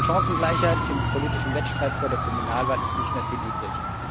Von Chancengleichheit im politischen Wettstreit vor der Kommunalwahl ist nicht mehr viel übrig.